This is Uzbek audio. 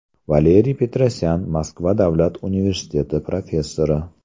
Valeriy Petrosyan, Moskva davlat universiteti professori.